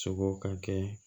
Sogo ka kɛ